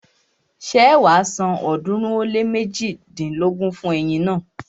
Ṣé wàá san ọ̀ọ́dúnrún ó lé méjidínlógún fún ẹyin naa?